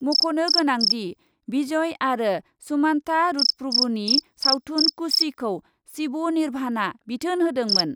मख'नो गोनांदि, भिजय आरो सुमान्ता रुटप्रभुनि सावथुन कुशिखौ शिब निर्भानआ बिथोन होदोंमोन।